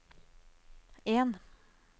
en